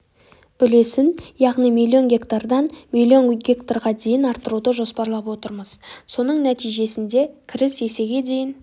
үлесін яғни миллион гектардан миллион гектарға дейін арттыруды жоспарлап отырмыз соның нәтижесінде кіріс есеге дейін